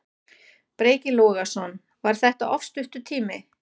Breki Logason: Var þetta of stuttur tími?